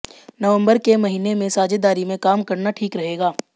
नवंबर के महीने में साझेदारी में काम करना ठीक रहेगा